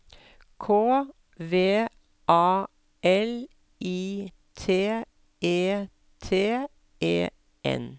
K V A L I T E T E N